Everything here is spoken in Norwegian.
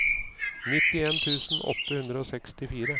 nittien tusen åtte hundre og sekstifire